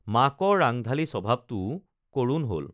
মাকৰ ৰাংঢালী স্বভাৱটোও কৰুণ হল